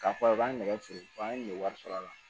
K'a fɔ a b'a nɛgɛ feere wa an ɲe wari sɔrɔ a la